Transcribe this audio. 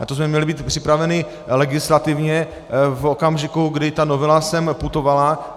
Na to jsme měli být připraveni legislativně v okamžiku, kdy ta novela sem putovala.